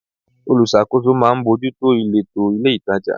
Olùṣàkóso máa ń bójú tó ìletò ilé-itàjà.